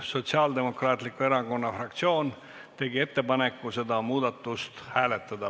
Sotsiaaldemokraatliku Erakonna fraktsioon tegi ettepaneku seda muudatust hääletada.